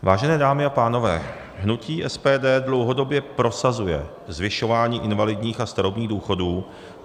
Vážené dámy a pánové, hnutí SPD dlouhodobě prosazuje zvyšování invalidních a starobních důchodů.